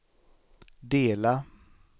dela